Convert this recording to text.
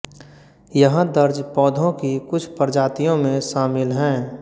यहां दर्ज पौधों की कुछ प्रजातियों में शामिल हैं